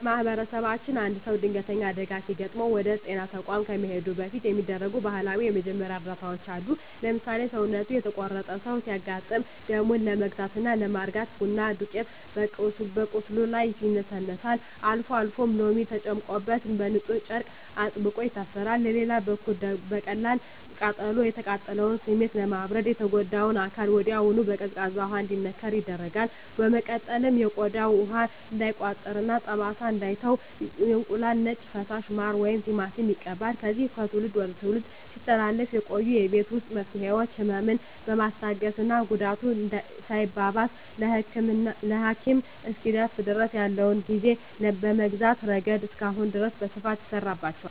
በማኅበረሰባችን አንድ ሰው ድንገተኛ አደጋ ሲገጥመው ወደ ጤና ተቋም ከመሄዱ በፊት የሚደረጉ ባህላዊ የመጀመሪያ እርዳታዎች አሉ። ለምሳሌ፣ ሰውነቱ የተቆረጠ ሰው ሲያጋጥም ደሙን ለመግታትና ለማርጋት የቡና ዱቄት በቁስሉ ላይ ይነሰነሳል፤ አልፎ አልፎም ሎሚ ተጨምቆበት በንፁህ ጨርቅ አጥብቆ ይታሰራል። በሌላ በኩል ለቀላል ቃጠሎ፣ የቃጠሎውን ስሜት ለማብረድ የተጎዳው አካል ወዲያውኑ በቀዝቃዛ ውሃ እንዲነከር ይደረጋል። በመቀጠልም ቆዳው ውሃ እንዳይቋጥርና ጠባሳ እንዳይተው የእንቁላል ነጭ ፈሳሽ፣ ማር ወይም ቲማቲም ይቀባል። እነዚህ ከትውልድ ወደ ትውልድ ሲተላለፉ የቆዩ የቤት ውስጥ መፍትሄዎች፣ ህመምን በማስታገስና ጉዳቱ ሳይባባስ ለሐኪም እስኪደርሱ ድረስ ያለውን ጊዜ በመግዛት ረገድ እስካሁን ድረስ በስፋት ይሠራባቸዋል።